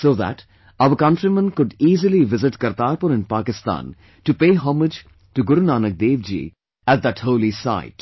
so that our countrymen could easily visit Kartarpur in Pakistan to pay homage to Guru Nanak Dev Ji at that holy sight